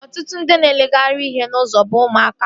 Ọtụtụ ndị na-ereghari ihe n'ụzọ bụ ụmụaka